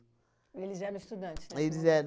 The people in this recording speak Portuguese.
Eles eram estudantes? Eles eram